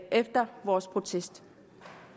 efter vores protest